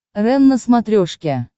рен на смотрешке